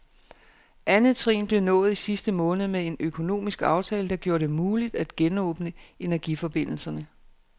Andet trin blev nået i sidste måned med en økonomisk aftale, der gjorde det muligt at genåbne energiforbindelserne.